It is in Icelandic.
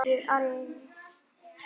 spurði Ari.